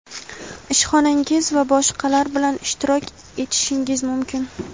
ishxonangiz va boshqalar bilan ishtirok etishingiz mumkin.